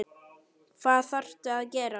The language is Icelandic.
Hvað þarftu að gera?